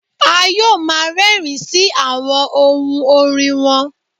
A yoo ma rẹrin si awọn ohun orin wọn